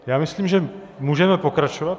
Já myslím, že můžeme pokračovat.